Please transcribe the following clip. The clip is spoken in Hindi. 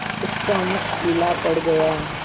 उसका मुख पीला पड़ गया